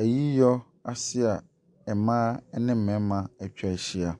Ayiyɔase a mmaa ne mmarima ɛtwa ɛhyia.